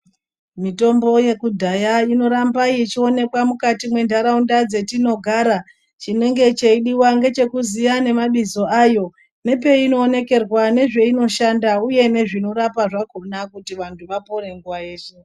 Mitombo yekudhaya inoramba yechionekwa mukati mwendaraunda dzetinogara chinenge cheidiwa ngechekuziya nemabizo ayo nepeyinoonekerwa nezveinoshanda uye nezveinorapa zvakona kuti vantu vapore nguva yeshe.